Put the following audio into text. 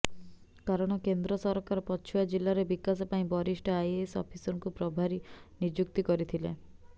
କାରଣ କେନ୍ଦ୍ରସରକାର ପୁଛୁଆ ଜିଳ୍ଳାର ବିକାଶ ପାଇଁ ବରିଷ୍ଠ ଆଇଏଏସ ଅଫିସରଙ୍କୁ ପ୍ରଭାରୀ ନିଯୁକ୍ତି କରିଥିଲେ